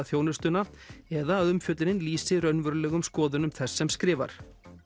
þjónustuna eða að umfjöllunin lýsi raunverulegum skoðunum þess sem skrifar